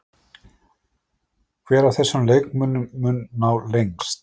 Hver af þessum leikmönnum mun ná lengst?